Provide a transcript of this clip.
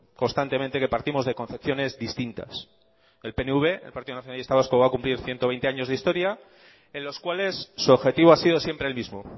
constantemente que partimos de concepciones distintas el pnv el partido nacionalista vasco va a cumplir ciento veinte años de historia en los cuales su objetivo ha sido siempre el mismo